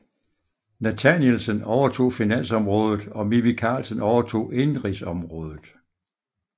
Nathanielsen overtog finansområdet og Mimi Karlsen overtog indenrigsområdet